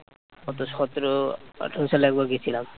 কতো সতেরো আঠেরো সালে একবার গেছিলাম